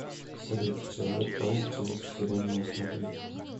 салют человек паук через вселенную смотреть